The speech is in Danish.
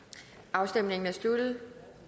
afstemningen er sluttet